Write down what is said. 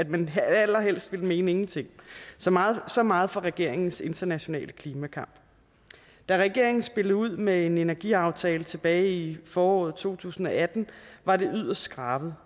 man allerhelst ville mene ingenting så meget så meget for regeringens internationale klimakamp da regeringen spillede ud med en energiaftale tilbage i foråret to tusind og atten var det yderst skrabet